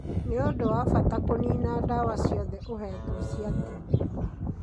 Ni ũndũ wa bata kũnina dawa ciothe ũhetwo cia TB.